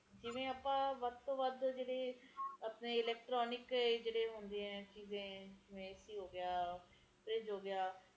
ਬਹੁਤ ਫਰਕ ਪੈ ਜਾਂਦਾ ਹੈ ਹਨ ਚੀਜ਼ਾਂ ਨਾਲ ਜਿੰਨੇ ਜ਼ਿਆਦਾ ਹਰਿਆਲੀ ਹੋਊਗੀ ਓਹਨਾ ਹੀ ਵਧੀਆ ਸਹੀ ਤਰੀਕੇ ਨਾਲ ਰਹੇਗਾ ਮੀਹ ਪਵੇਗਾ